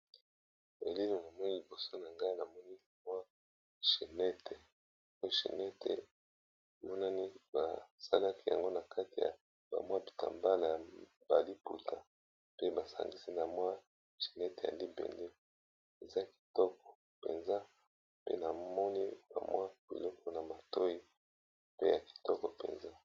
Elili oyo nazomona lboso nangai eza chenette ,emonani ba saliyango na kati ya ba maputa pe basangisi na mabende eza kitoko penza pe namoni bamwa biloko na matoyi.